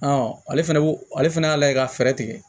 ale fɛnɛ ale fɛnɛ y'a lajɛ ka fɛɛrɛ tigɛ